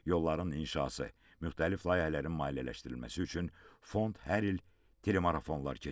Yolların inşası müxtəlif layihələrin maliyyələşdirilməsi üçün fond hər il telemarafonlar keçirib.